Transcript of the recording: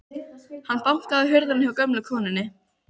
Hann bankaði á hurðina hjá gömlu konunni.